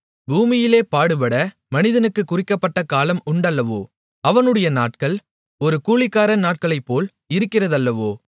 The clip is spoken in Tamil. பூமியிலே பாடுபட மனிதனுக்குக் குறிக்கப்பட்ட காலம் உண்டல்லவோ அவனுடைய நாட்கள் ஒரு கூலிக்காரன் நாட்களைப்போல் இருக்கிறதல்லவோ